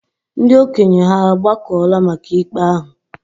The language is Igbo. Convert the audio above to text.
Ndị okenye hà agbakọla maka ikpe ahụ?